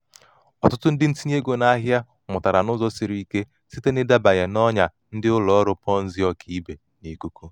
ọtụtụ ndị ntinye ego n'ahịa mụtara n'ụzọ siri ike site n'ịdabanye n'ọnya ndị ụlọ ọrụ ponzi ọkaibe n'ikuku.